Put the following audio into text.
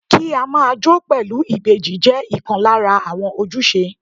Kí á máa jó pẹ̀lú ìbejì jẹ́ ìkan lára àwọn ojúṣe.